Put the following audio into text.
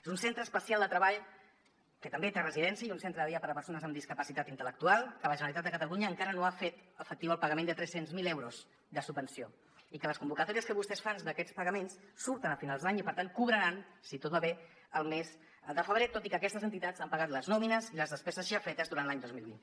és un centre especial de treball que també té residència i un centre de dia per a persones amb discapacitat intel·lectual que la generalitat de catalunya encara no ha fet efectiu el pagament de tres cents miler euros de subvenció i que les convocatòries que vostès fan d’aquests pagaments surten a finals d’any i per tant cobraran si tot va bé el mes de febrer tot i que aquestes entitats han pagat les nòmines i les despeses ja fetes durant l’any dos mil vint